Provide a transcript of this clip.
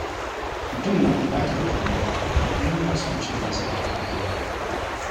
Mutum na buƙatar juriya idan yana son cin nasara a rayuwa.